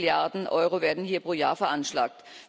Zehn Milliarden Euro werden hier pro Jahr veranschlagt.